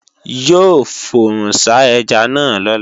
Yóò fòrùnsá ẹja náà lọ́la